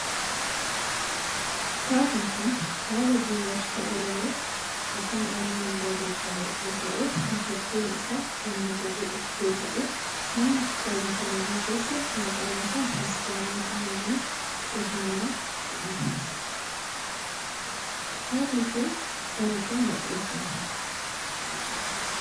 Kitaabni kun kitaaba geerarsa oromoo afaan oromoon barreeffame yoo ta'u mata dureen isaa oonnata jedhu yoo ta'u namni kitaaba kana barreesse maqaan isaa Misgaanuu Gulummaa Irranaa jedhama. Kitaabni kun bara kam maxxanfame?